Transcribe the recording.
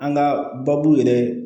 An ka baabu yɛrɛ